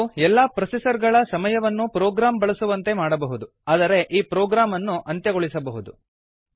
ಇದು ಎಲ್ಲಾ ಪ್ರೊಸೆಸರ್ ಗಳ ಸಮಯವನ್ನೂ ಪ್ರೊಗ್ರಾಮ್ ಬಳಸುವಂತೆ ಮಾಡಬಹುದು ಆದರೆ ಈ ಪ್ರೊಗ್ರಾಮ್ ಅನ್ನು ಅಂತ್ಯಗೊಳಿಸಬಹುದು